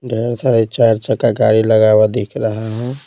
ढेर सारे चार चक्का गाड़ी लगा हुआ दिख रहा है।